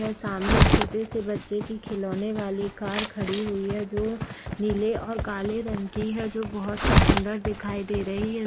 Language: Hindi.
यह सामने छोटे-से बच्चे की खिलौने वाली कार खड़ी हुई है जो नीले और काले रंग की है जो बोहोत ही सुन्दर दिखाई दे रही है।